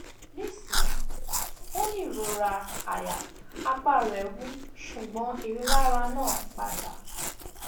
nisin o ni irora aya apa re wu ṣugbọn rilara naa pada